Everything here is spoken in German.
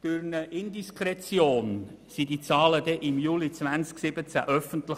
Durch eine Indiskretion wurden diese Zahlen im Juli 2017 öffentlich.